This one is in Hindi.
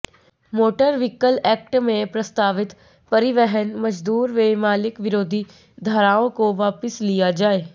मोटर व्हीकल एक्ट मंे प्रस्तावित परिवहन मजदूर व मालिक विरोधी धाराओं को वापस लिया जाए